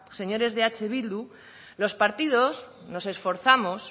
señores de eh bildu los partidos nos esforzamos